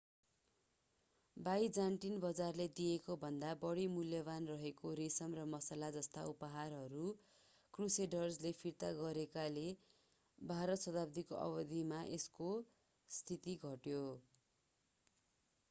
Byzantine बजारले दिएकोभन्दा बढी मूल्यवान् रहेका रेशम र मसला जस्ता उपहारहरू क्रुसेडर्सले फिर्ता गरेकोले बाह्रौं शताब्दीको अवधिमा यसको स्थिति घट्यो